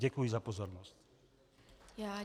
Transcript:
Děkuji za pozornost.